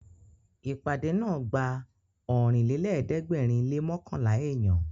Ìpàdé náà gba Ọ̀rìnlélẹ̀ẹ́dẹ́gbèrin lé mọ́kànlá èèyàn